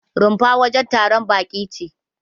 Rumfa wajen taron baƙi ce.